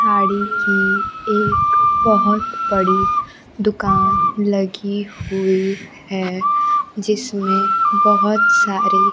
साड़ी की एक बहोत बड़ी दुकान लगी हुई है जिसमें बहोत सारी--